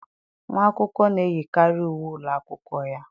Nwa akwụkwọ na-eyikarị uwe ụlọ akwụkwọ ya.